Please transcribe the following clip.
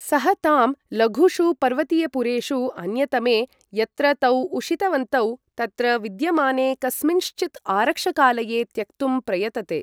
सः तां लघुषु पर्वतीयपुरेषु अन्यतमे, यत्र तौ उषितवन्तौ, तत्र विद्यमाने कस्मिँश्चित् आरक्षकालये त्यक्तुं प्रयतते।